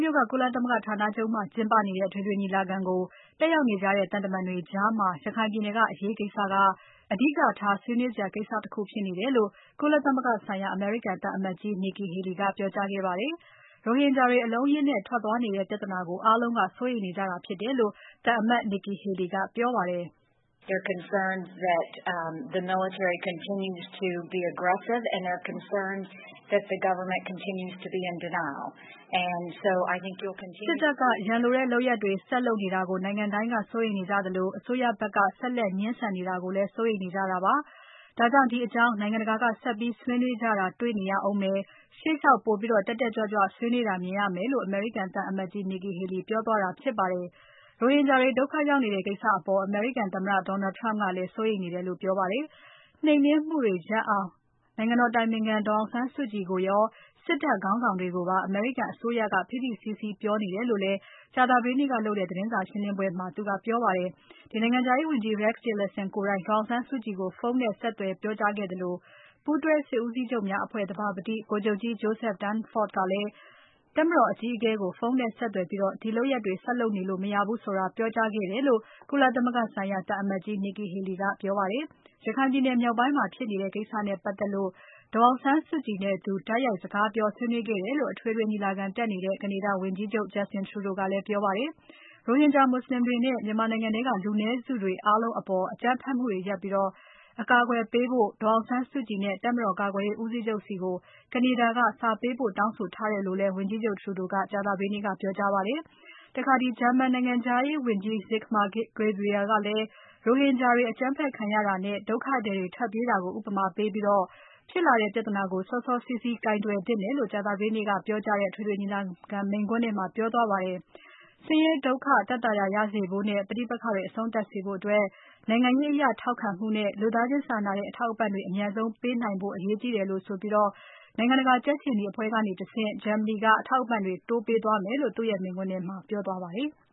မြို့က ကုလသမဂ္ဂဌာနချုပ်မှာကျင်းပနေတဲ့ အထွေထွေညီလာခံကို တက်ရောက်နေတဲ့ သံတမန်တွေကြား ရခိုင်ပြည်နယ်ကအရေးကိစ္စက အဓိကထား ဆွေးနွေးစရာကိစ္စတခုဖြစ်နေတယ်လို့ ကုလသမဂ္ဂဆိုင်ရာ အမေရိကန်သံအမတ်ကြီး Nikki Haley ကပြောကြားခဲ့ပါတယ်။ ရိုဟင်ဂျာတွေ အလုံးအရင်းနဲ့ ထွက်သွားနေတဲ့ပြဿနာကို အားလုံးက စိုးရိမ်နေကြတာဖြစ်တယ်လို့ သံအမတ် Nikki Haley ကပြောပါတယ်။ "စစ်တပ်က ရန်လိုတဲ့လုပ်ရပ်တွေ ဆက်လုပ်နေတာကို နိုင်ငံတိုင်းက စိုးရိမ်နေကြသလို။ အစိုးရဖက်က ဆက်လက်ငြင်းဆန်နေတာကို စိုးရိမ်နေကြတာပါ။ ဒါကြောင့် ဒီအကြောင်းနိုင်ငံတကာက ဆက်ပြီးဆွေးနွေးကြတာ တေ့ွနေရဦးမယ်။ ရှေ့လျှောက် ပိုပြီးတက်တက်ကြွကြွဆွေးနွေးတာမြင်ရမယ်လို့ " အမေရိကန်သံအမတ်ကြီး Nikki Haley ပြောသွားတာဖြစ်ပါတယ်။ ရိုဟင်ဂျာတွေ ဒုက္ခရောက်နေတဲ့ ကိစ္စအပေါ် အမေရိကန်သမ္မတ Donald Trump ကလည်း စိုးရိမ်နေတယ်လို့ ပြောပါတယ်။ နှိမ်နှင်းမှုတွေရပ်အောင် နိုင်ငံတော်အတိုင်ပင်ခံ ဒေါ်အောင်ဆန်းစုကြည်ကိုရော စစ်တပ်ခေါင်းဆောင်တွေကိုပါ အမေရိကန်အစိုးရက ဖိဖိစည်းစည်းပြောနေတယ်လို့လည်း ကြာသပတေးနေ့က သတင်းစာရှင်းပွဲမှာ ပြောသွားပါတယ်။ နိုင်ငံခြားရေးဝန်ကြီး Rex Tillerson ကိုယ်တိုင် ဒေါ်အောင်ဆန်းစုကြည်ကို ဖုန်းနဲ့ဆက်သွယ် ပြောကြားခဲ့သလို ပူးတွဲစစ်ဦးစီးချုပ်များအဖွဲ့ သဘာပတိဗိုလ်ချုပ်ကြီး Joseph Dunford ကလည်း တပ်မတော်အကြီးအကဲကို ဖုန်းနဲ့ဆက်သွယ်ပြီး ဒီလုပ်ရပ်တွေဆက်လုပ်နေလို့မရဘူးဆိုတာ ပြောကြားခဲ့တယ်လို့ ကုလသမဂ္ဂဆိုင်ရာ အသံအမတ်ကြီး Nikki Haley ကပြောကြားခဲ့ပါတယ်။ ရခိုင်မြောက်ပိုင်းမှာဖြစ်နေတဲ့ ကိစ္စနဲ့ပတ်သက်လို့ ဒေါ်အောင်ဆန်းစုကြည်နဲ့သူ တိုက်ရိုက်စကားပြော ဆွေးနွေးခဲ့တယ်လို့ အထွေထွေညီလာခံတက်နေတဲ့ ကနေဒါဝန်ကြီးချုပ် Justin Trudeau ကပြောပါတယ်။ ရိုဟင်ဂျာ မူဆလင်တွေနဲ့ မြန်မာနိုင်ငံထဲက လူနည်းစုတွေအားလုံးအပေါ် အကြမ်းဖက်မှုတွေရပ်ပြီး အကာအကွယ်ပေးဖို့ ဒေါ်အောင်ဆန်းစုကြည်နဲ့ တပ်မတော်ကာကွယ်ရေးဦးစီးချုပ်ဆီကို ကနေဒါက စာပေးပို့တောင်းဆိုထားတယ်လို့လည်း ဝန်ကြီးချုပ် Trudeau ကကြာသပတေးနေ့က ပြောကြားခဲ့ပါတယ်။ ဂျာမန်နိုင်ငံခြားရေးဝန်ကြီး Sigmar Gabriel ကလည်း ရိုဟင်ဂျာတွေအကြမ်းဖက်ခံရတာနဲ့ ဒုက္ခသည်တွေထွက်ပြေးတာကို ဥပမာပေးပြီး ဖြစ်လာတဲ့ပြဿနာကို စောစောစီးစီးကိုင်တွယ်သင့်တယ်လို့ကြာသပတေးနေ့က ပြောကြားတဲ့ အထွေထွေညီလာခံမိန့်ခွန်းထဲမှာ ပြောသွားပါတယ်။ ဆင်းရဲ ဒုက္ခသက်သာရ ရစေဖို့နဲ့ ပဋိက္ခတွေအဆုံးသပ်စေဖို့ နိုင်ငံရေးအရထောက်ခံမှုနဲ့ လူသားချင်းစာနာတဲ့ အထောက်အပံ့တွေ အမြန်ဆုံးပေးနိုင်ဖို့ အရေးကြီးတယ်လို့ဆိုပြီး နိုင်ငံတကာကြက်ခြေနီအဖွဲ့ကတဆင့် ဂျာမနီက အထောက်အပံ့တွေ တိုးပေးသွားမယ်လို့ မိန့်ခွန်းထဲမှာ ပြောသွားပါတယ်။